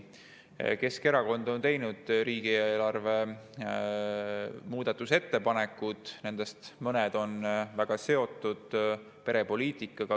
Keskerakond on teinud riigieelarve kohta muudatusettepanekud, nendest mõned on väga seotud perepoliitikaga.